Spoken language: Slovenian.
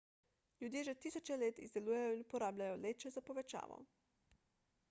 ljudje že tisoče let izdelujejo in uporabljajo leče za povečavo